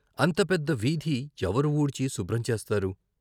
అంత పెద్ద వీధి ఎవరు వూర్చి శుభ్రం చేస్తారు?